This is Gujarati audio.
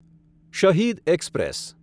શહીદ એક્સપ્રેસ